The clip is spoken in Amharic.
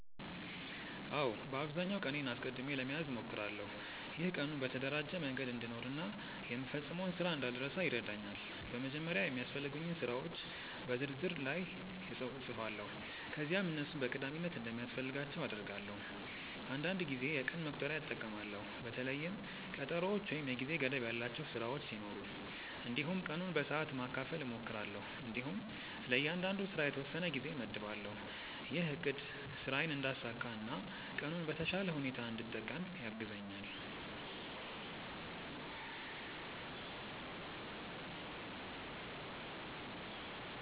አዎ፣ በአብዛኛው ቀኔን አስቀድሜ ለመያዝ እሞክራለሁ። ይህ ቀኑን በተደራጀ መንገድ እንድኖር እና የምፈጽመውን ስራ እንዳልረሳ ይረዳኛል። በመጀመሪያ የሚያስፈልጉኝን ስራዎች የ ዝርዝር ላይ እጻፋለሁ ከዚያም እነሱን በቀዳሚነት እንደሚያስፈልጋቸው እደርዳለሁ። አንዳንድ ጊዜ የቀን መቁጠሪያ እጠቀማለሁ በተለይም ቀጠሮዎች ወይም የጊዜ ገደብ ያላቸው ስራዎች ሲኖሩ። እንዲሁም ቀኑን በሰዓት ማካፈል እሞክራለሁ እንዲሁም ለእያንዳንዱ ስራ የተወሰነ ጊዜ እመድባለሁ። ይህ አቅድ ስራዬን እንዳሳካ እና ቀኑን በተሻለ ሁኔታ እንድጠቀም ያግዛኛል።